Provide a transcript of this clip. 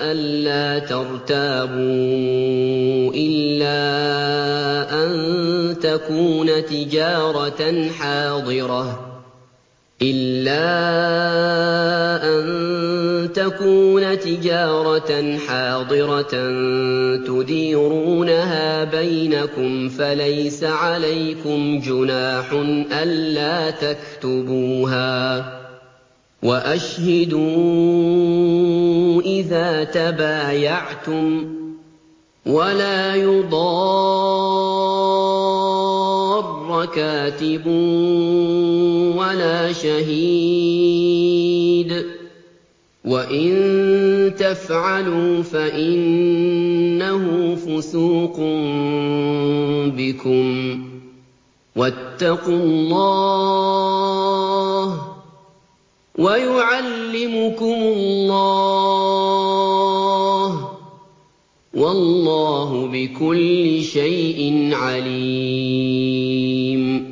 أَلَّا تَرْتَابُوا ۖ إِلَّا أَن تَكُونَ تِجَارَةً حَاضِرَةً تُدِيرُونَهَا بَيْنَكُمْ فَلَيْسَ عَلَيْكُمْ جُنَاحٌ أَلَّا تَكْتُبُوهَا ۗ وَأَشْهِدُوا إِذَا تَبَايَعْتُمْ ۚ وَلَا يُضَارَّ كَاتِبٌ وَلَا شَهِيدٌ ۚ وَإِن تَفْعَلُوا فَإِنَّهُ فُسُوقٌ بِكُمْ ۗ وَاتَّقُوا اللَّهَ ۖ وَيُعَلِّمُكُمُ اللَّهُ ۗ وَاللَّهُ بِكُلِّ شَيْءٍ عَلِيمٌ